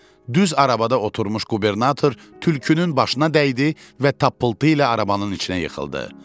Düz arabada oturmuş qubernator tülkünün başına dəydi və tapıltı ilə arabanın içinə yıxıldı.